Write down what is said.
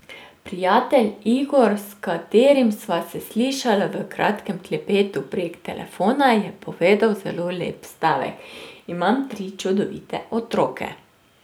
Prijatelj Igor, s katerim sva se slišala v kratkem klepetu prek telefona, je povedal zelo lep stavek: 'Imam tri čudovite otroke'.